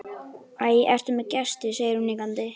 Æ, ertu með gesti, segir hún hikandi.